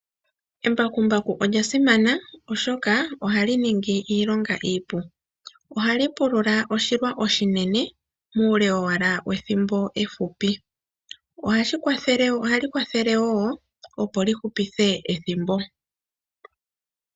Embakumbaku olya simana, oshoka ohali ningi iilonga iipu. Ohali pulula oshilwa oshinene, muule owala wethimbo efupi. Ohali kwathele wo opo li hupithe ethimbo.